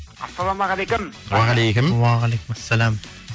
ассаламағалейкум уағалейкум уағалейкум ассалям